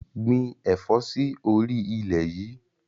Gbìn ẹ̀fọ́ sì orí ilẹ̀ yìí!